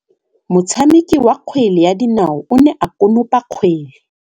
Motshameki wa kgwele ya dinaô o ne a konopa kgwele.